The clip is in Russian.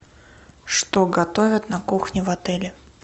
что готовят на кухне в отеле